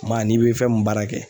Maa n'i bɛ fɛn mun baara kɛ